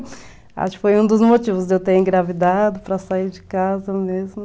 Acho que foi um dos motivos de eu ter engravidado, para sair de casa mesmo.